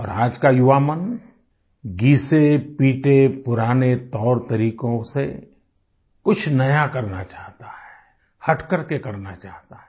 और आज का युवा मन घिसेपिटे पुराने तौर तरीकों से कुछ नया करना चाहता है हटकर के करना चाहता है